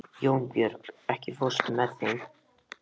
Jónbjörg, ekki fórstu með þeim?